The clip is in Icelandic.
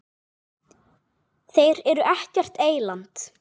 Þeir eru ekkert eyland.